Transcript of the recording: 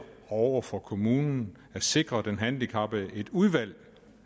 over for kommunen at sikre den handicappede et udvalg